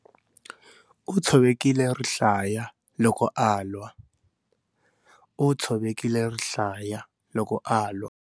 U tshovekile rihlaya loko a lwa. U tshovekile rihlaya loko a lwa.